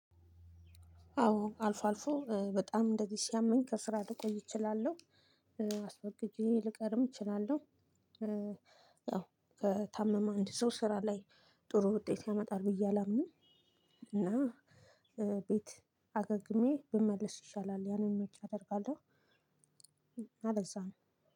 አዎ አልፎ አልፎ በጣም እንደዚህ ሲያመኝ ከስራ ልቆይ እችላለሁ። አስወግጄ ልቀርም እችላለሁ። ያው ከታመመ አንድ ሰው ስራ ላይ ጥሩ ውጤት ያመጣል ብዬ አላምንም። እና ቤት አገግሜ ብመለስ ይሻላል ያንን ምርጫ አደርጋለሁ እና ለዛ ነው።